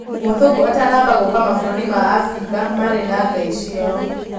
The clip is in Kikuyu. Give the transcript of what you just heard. Mũthũngũ atanamba ngũka mabũrũrĩ ma Afrika marĩ na Ngai ciao.